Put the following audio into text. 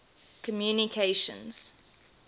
communications